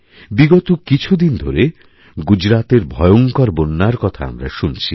বিগত কিছুদিনধরে গুজরাতের ভয়ংকর বন্যার কথা আমরা শুনছি